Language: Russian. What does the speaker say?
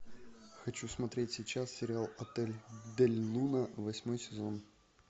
хочу смотреть сейчас сериал отель дель луна восьмой сезон